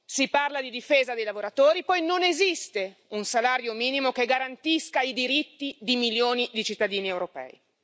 Si parla di difesa dei lavoratori e poi non esiste un salario minimo che garantisca i diritti di milioni di cittadini europei.